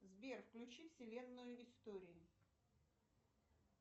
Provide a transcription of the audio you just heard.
сбер включи вселенную историй